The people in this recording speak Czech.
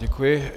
Děkuji.